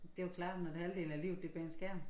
Det jo klart når halvdelen af livet det er bag en skærm